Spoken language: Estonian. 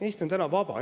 Eesti on täna vaba.